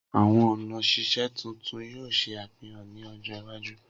Awọn ọna sise titun yoo ṣe afihan ni ọjọ iwaju